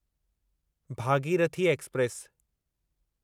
Bhagirathi express